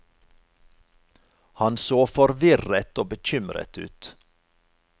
Han så forvirret og bekymret ut.